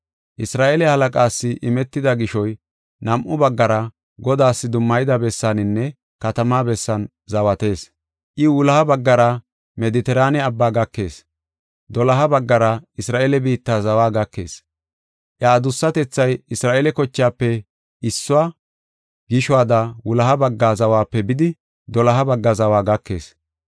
Isra7eele halaqaas imetida gishoy nam7u baggara Godaas dummayida bessaaninne katamaa bessan zawatees. I wuloha baggara Medetiraane Abbaa gakees; doloha baggara Isra7eele biitta zawa gakees. Iya adussatethay Isra7eele kochaafe issuwa gishuwada wuloha bagga zawape bidi, doloha bagga zawa gakees.